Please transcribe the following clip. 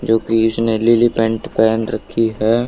जोकि इसने लिली पैंट पहन रखी है।